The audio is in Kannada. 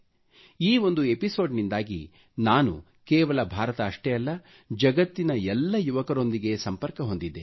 ಈ ಒಂದು ಎಪಿಸೋಡ್ ನಿಂದಾಗಿ ನಾನು ಕೇವಲ ಭಾರತ ಅಷ್ಟೇ ಅಲ್ಲ ಜಗತ್ತಿನ ಎಲ್ಲ ಯುವಕರೊಂದಿಗೆ ಸಂಪರ್ಕ ಹೊಂದಿದ್ದೇನೆ